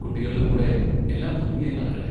കുട്ടികളുടെ കൂടെ എല്ലാം ഭംഗിയായി നടക്കട്ടെ.